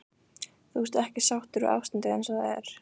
Þú ert ekki sáttur við ástandið eins og það er?